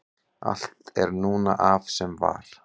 allt er núna af sem var